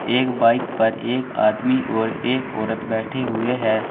एक बाइक पर एक आदमी और एक औरत बैठे हुए हैं।